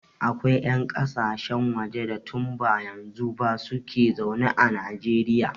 Akwai 'yan ƙasashen waje da tun ba yanzu ba su ke zaune a Najeriya.